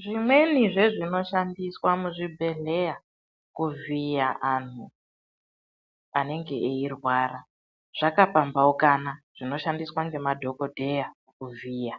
Zvimweni zvezvinoshandiswa muzvibhedhleya kuvhiya anhu anenge eirwara zvakapambaukana, zvinoshandiswa ngemadhogodheya kuvhiya,